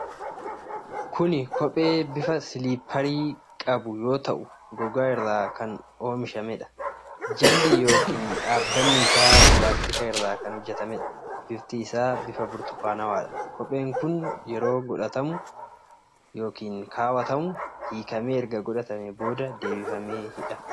Kun Kophee bifa silipparii qabu yoo ta'u, gogaa irraa kan oomishameedha. Jalli yookiin dhaabbanni isaa pilaastika irraa kan hoojjatamedha. bifti isaa bifa burtukaanawaadha. Kopheen kun yeroo godhatamuu hiikamee erga godhatamee booda deebifamee hidhama.